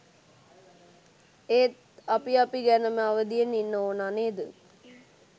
ඒත් අපි අපි ගැනම අවදියෙන් ඉන්න ඕනා නේද?